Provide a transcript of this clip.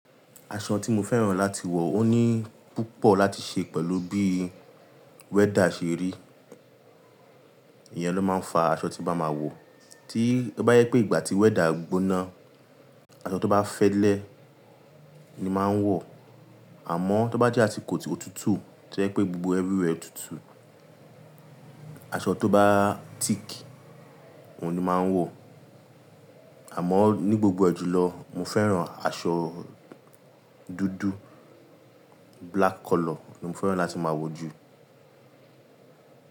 Aṣọ tí mo fẹ́ràn láti wọ ò ní púpọ̀ láti ṣe pẹ̀lú bí weather ṣe rí. Ìyẹn ló máa ń fa aṣọ tí n bá máa wọ. Tí ó bá jẹ pé ìgbà tí weather gbóná, aṣọ tó bá fẹ́lẹ́ ni máa ń wọ̀, àmọ́ tó bá jẹ́ asikò otútù, to jẹ pé gbogbo everywhere tútù, aṣọ tó bá thick òun ni máa ń wọ̀. Àmọ́ ní gbogbo ẹ jùlọ, mo fẹ́ràn aṣọ dúdú, black color ni mo fẹ́ràn láti máa wọ̀ jù.